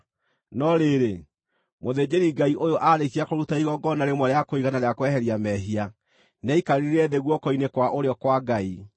No rĩrĩ, mũthĩnjĩri Ngai ũyũ aarĩkia kũruta igongona rĩmwe rĩa kũigana rĩa kweheria mehia, nĩaikarire thĩ guoko-inĩ kwa ũrĩo kwa Ngai.